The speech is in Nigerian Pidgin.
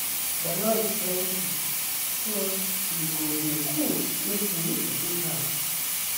The noise plenty so e go dey cool if we reduce am.